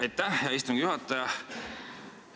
Aitäh, hea istungi juhataja!